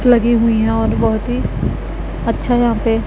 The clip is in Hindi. लगी हुई हैं और बहोत ही अच्छा यहां पे--